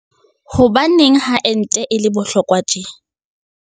Hobaneng ha ente e le bohlokwa tje?